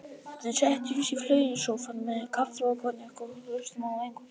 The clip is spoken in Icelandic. Við setjumst í flauelssófann með kaffi og konjak og hlustum á eitthvað fallegt.